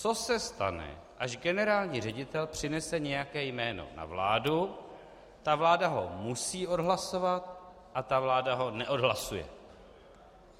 Co se stane, až generální ředitel přinese nějaké jméno na vládu, ta vláda ho musí odhlasovat, a ta vláda ho neodhlasuje.